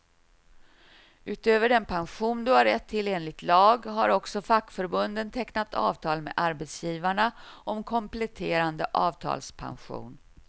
Utöver den pension du har rätt till enligt lag, har också fackförbunden tecknat avtal med arbetsgivarna om kompletterande avtalspension.